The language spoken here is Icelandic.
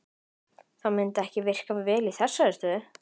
Það myndi ekki virka vel í þessari stöðu.